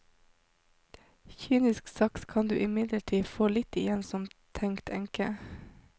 Kynisk sagt kan du imidlertid få litt igjen som tenkt enke.